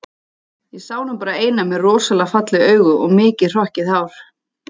Ég sá nú bara eina með rosalega falleg augu og mikið hrokkið hár